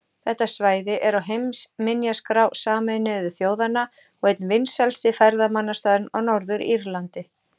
Þetta svæði er á heimsminjaskrá Sameinuðu þjóðanna og einn vinsælasti ferðamannastaðurinn á Norður-Írlandi.